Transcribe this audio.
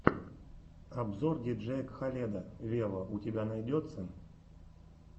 обзор диджея кхаледа вево у тебя найдется